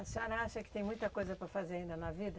A senhora acha que tem muita coisa para fazer ainda na vida?